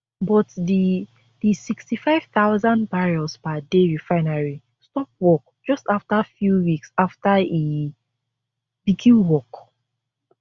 but di di sixty-five thousand barrels per day refinery stop work just afta few weeks afta e begin work